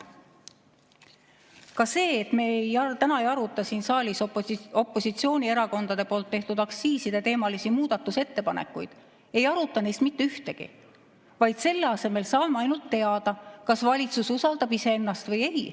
Ka see, et me täna ei aruta siin saalis opositsioonierakondade tehtud aktsiiside teemalisi muudatusettepanekuid, ei aruta neist mitte ühtegi, vaid selle asemel saame ainult teada, kas valitsus usaldab iseennast või ei.